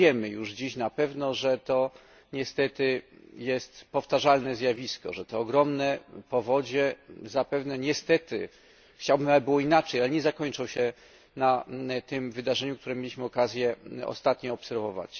Wiemy już dziś na pewno, że to niestety jest powtarzalne zjawisko, że te ogromne powodzie zapewne, niestety chciałbym, żeby było inaczej ale nie zakończą się na tym wydarzeniu, które mieliśmy okazję ostatnio obserwować.